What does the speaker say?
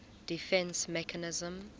defence mechanism